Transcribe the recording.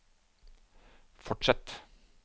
fortsett